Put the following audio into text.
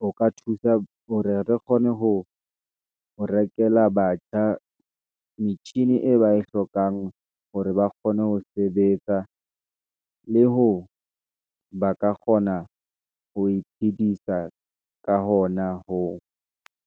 ho ka thusa hore re kgone ho rekela batjha, metjhini e ba e hlokang hore ba kgone ho sebetsa , le ho ba ka kgona ho iphedisa, ka hona hoo.